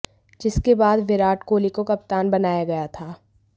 जिसके बाद विराट कोहली को कप्तान बनाया गया था